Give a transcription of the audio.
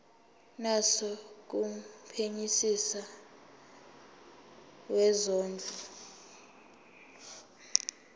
naso kumphenyisisi wezondlo